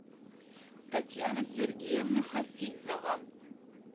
татьяна сергеевна хафизова